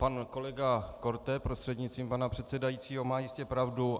Pan kolega Korte - prostřednictvím pana předsedajícího - má jistě pravdu.